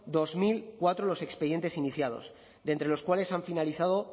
dos mil cuatro los expedientes iniciados de entre los cuales han finalizado